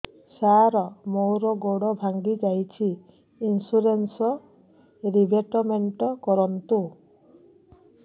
ସାର ମୋର ଗୋଡ ଭାଙ୍ଗି ଯାଇଛି ଇନ୍ସୁରେନ୍ସ ରିବେଟମେଣ୍ଟ କରୁନ୍ତୁ